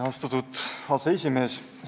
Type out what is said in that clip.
Austatud aseesimees!